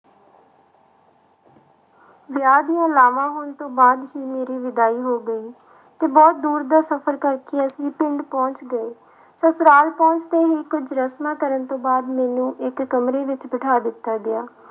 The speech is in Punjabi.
ਵਿਆਹ ਦੀਆਂ ਲਾਵਾਂ ਹੋਣ ਤੋਂ ਬਾਅਦ ਹੀ ਮੇਰੀ ਵਿਦਾਈ ਹੋ ਗਈ ਤੇ ਬਹੁਤ ਦੂਰ ਦਾ ਸਫ਼ਰ ਕਰਕੇ ਅਸੀਂ ਪਿੰਡ ਪਹੁੰਚ ਗਏ, ਸਸੁਰਾਲ ਪਹੁੰਚ ਕੇ ਹੀ ਕੁੱਝ ਰਸਮਾਂ ਕਰਨ ਤੋਂ ਬਾਅਦ ਮੈਨੂੰ ਇੱਕ ਕਮਰੇ ਵਿੱਚ ਬਿਠਾ ਦਿੱਤਾ ਗਿਆ